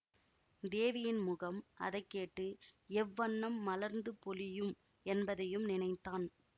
தேவியின் முகம் அதைக்கேட்டு எவ்வண்ணம் மலர்ந்து பொலியும் என்பதையும் நினைத்தான்